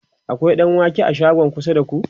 akwai ɗanwake a shagon kusa da ku?